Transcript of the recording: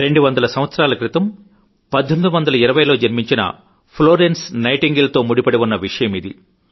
200 సంవత్సరాల క్రితం 1820 లో జన్మించిన ఫ్లోరెన్స్ నైటింగేల్ తో ముడిపడివున్న విషయమిది